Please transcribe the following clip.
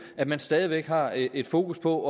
at man stadig har et fokus på